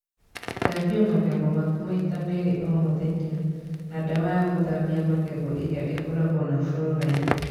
Thambia magego maku maita merĩ o mũthenya (na ndawa ya gũthambia magego ĩrĩa ĩkoragwo na fluoride).